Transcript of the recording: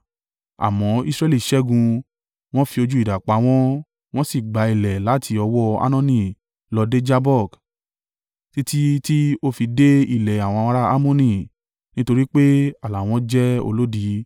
Àmọ́, Israẹli ṣẹ́gun, wọn fi ojú idà pa wọ́n, wọ́n sì gba ilẹ̀ láti ọwọ́ Arnoni lọ dé Jabbok, títí tí ó fi dé ilẹ̀ àwọn ará Ammoni, nítorí pé ààlà wọn jẹ́ olódi.